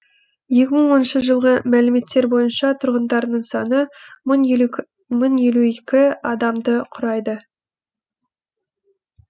екі мың оныншы жылғы мәліметтер бойынша тұрғындарының саны мың елу екі адамды құрайды